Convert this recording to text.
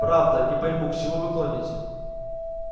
правда не пойму к чему вы клоните